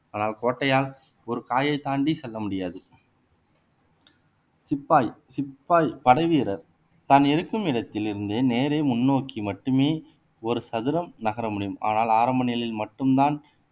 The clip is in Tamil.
ஆனால் கோட்டையால் ஒரு காயை தாண்டி செல்ல முடியாது சிப்பாய் சிப்பாய் படைவீரர் தான் இருக்கும் இடத்திலிருந்தே நேரே முன்னோக்கி மட்டுமே ஒரு சதுரம் நகர முடியும் ஆனால் ஆரம்ப நிலையில் மட்டும்தான்